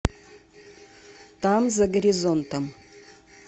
там за горизонтом